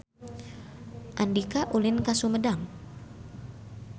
Andika ulin ka Sumedang